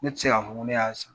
Ne ti se ka fɔ n ko ne y'a san